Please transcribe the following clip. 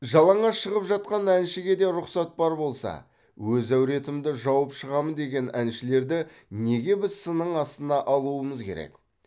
жалаңаш шығып жатқан әншіге де рұқсат бар болса өз әуретімді жауып шығамын деген әншілерді неге біз сынның астына алуымыз керек